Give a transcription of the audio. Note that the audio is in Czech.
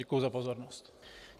Děkuji za pozornost.